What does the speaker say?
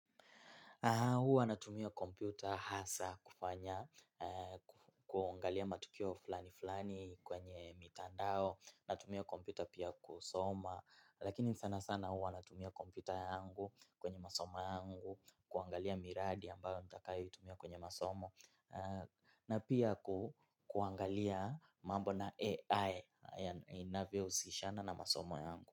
Huwa natumia kompyuta hasa kufanya, kuangalia matukio fulani fulani kwenye mitandao, natumia kompyuta pia kusoma, lakini sana sana huwa natumia kompyuta yangu kwenye masoma yangu, kuangalia miradi ambayo tutakayoitumia kwenye masomo, na pia kuangalia mambo na AI, inavyohusishana na masomo yangu.